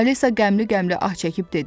Alisa qəmli-qəmli ah çəkib dedi.